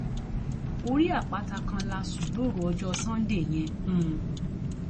orí àpáta kan la sùn lóru ọjọ sànńdẹ yẹn um